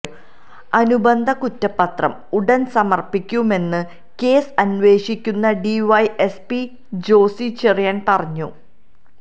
അനുബന്ധ കുറ്റപത്രം ഉടൻ സമർപ്പിക്കുമെന്ന് കേസ് അന്വേഷിക്കുന്ന ഡിവൈഎസ്പി ജോസി ചെറിയാൻ പറഞ്ഞു